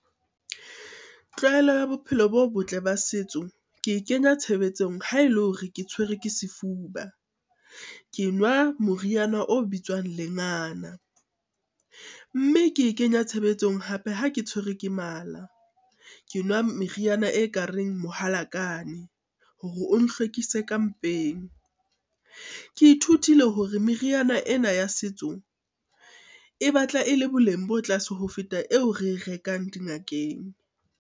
Tlwaelo ya bophelo bo botle ba setso, ke e kenya tshebetsong ha e le hore ke tshwere ke sefuba. Ke nwa moriana o bitswang lengana, mme ke e kenya tshebetsong hape ha ke tshwere ke mala. Ke nwa meriana e ka reng mohalakane hore o nhlwekise ka mpeng. Ke ithutile hore meriana ena ya setso, e batla e le boleng bo tlase ho feta eo re e rekang dingakeng.